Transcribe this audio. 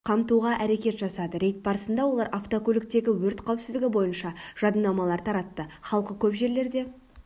қамтуға әрекет жасады рейд барысында олар автокөліктегі өрт қауіпсіздігі бойынша жадынамалар таратты халқы көп жерлерде